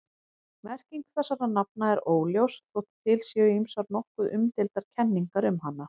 Merking þessara nafna er óljós þótt til séu ýmsar nokkuð umdeildar kenningar um hana.